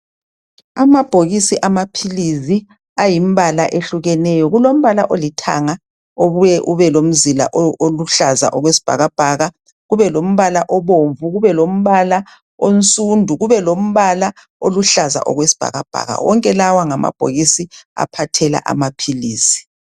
Amabhokisi amaphilizi ayimbala ehlukeneyo kulombala olithanga obuye ubelomzila oluhlaza okwesibhakabhaka kubelombala obomvu kube lombala omsundu kubelombala oluhlaza okwesibhakabhaka wonke lawa ngamabhokisi aphathela amaphilisi..